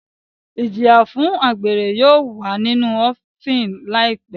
Ijiya fun agbere yóò wa ninu ofin laipe